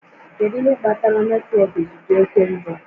Kedu ihe kpatara netwọk ji dị oke njọ?